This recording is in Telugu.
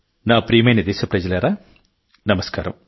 నా ప్రియమైన దేశప్రజలారా నమస్కారం